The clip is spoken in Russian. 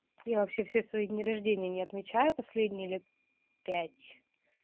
я вообще все свои дни рождения не отмечаю последние лет пять